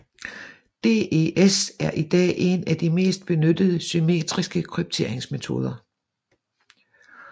DES er i dag en af de mest benyttede symmetriske krypteringsmetoder